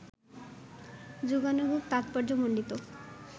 যুগানুগ তাৎপর্যমণ্ডিত